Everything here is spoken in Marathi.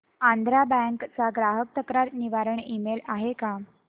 आंध्रा बँक चा ग्राहक तक्रार निवारण ईमेल आहे का